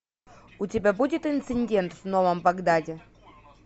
у тебя будет инцидент в новом багдаде